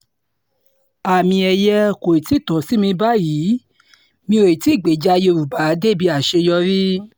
àmì-ẹ̀yẹ kò tí ì tó sí mi báyìí mi ò tí ì gbèjà yorùbá débi àṣeyọrí